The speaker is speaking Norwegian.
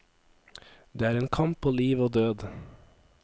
Det er en kamp på liv og død.